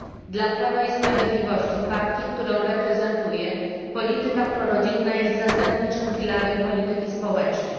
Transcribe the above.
Dla Prawa i Sprawiedliwości, partii, którą reprezentuję, polityka prorodzinna jest zasadniczym filarem polityki społecznej.